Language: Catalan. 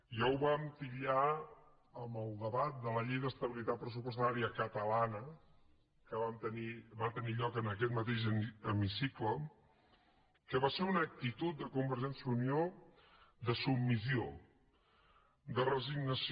ja ho vam titllar en el debat de la llei d’estabilitat pressupostària catalana que va tenir lloc en aquest mateix hemicicle que va ser una actitud de convergència i unió de submissió de resignació